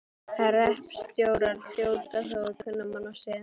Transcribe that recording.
Hreppstjórar hljóta þó að kunna mannasiði.